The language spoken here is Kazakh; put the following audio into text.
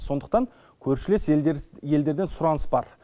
сондықтан көршілес елдерден сұраныс бар